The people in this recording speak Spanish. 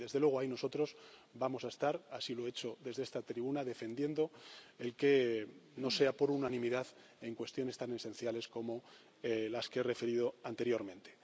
Y, desde luego, ahí nosotros vamos a estar, así lo he hecho desde esta tribuna, defendiendo que no sea por unanimidad en cuestiones tan esenciales como las que he referido anteriormente.